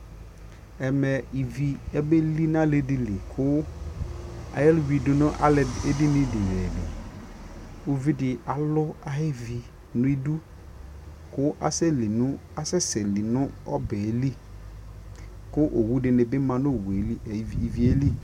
ɛmɛ ivi abɛli nʋ ali dili kʋ ɛwidʋ nʋ ɛdini dini li, ʋvidi alʋ ayi ʋvi nʋ idʋ kʋ asɛsɛ li nʋ ɔbɛli kʋ awʋ dini bi manʋ iviɛ li